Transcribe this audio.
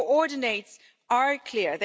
Their coordinates are clear.